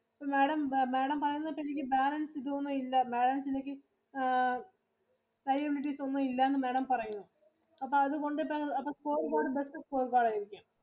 ഇപ്പം Madam, Madam പറയുന്നേ ഒക്കെ എനിക്ക് balance ഇതൊന്നും ഇല്ല balance എനിക്ക് ആ liabilities ഒന്നും ഇല്ലാന്ന് Madam പറയുന്നു. അപ്പം അത് കൊണ്ടിട്ടു അപ്പൊ better ആയിരിക്കും.